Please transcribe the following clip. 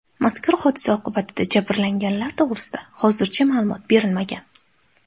Mazkur hodisa oqibatida jabrlanganlar to‘g‘risida hozircha ma’lumot berilmagan.